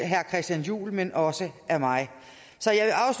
herre christian juhl men også af mig